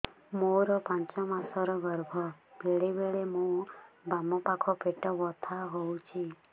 ମୋର ପାଞ୍ଚ ମାସ ର ଗର୍ଭ ବେଳେ ବେଳେ ମୋ ବାମ ପାଖ ପେଟ ବଥା ହଉଛି